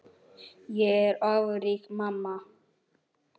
Ég er ófrísk, mamma!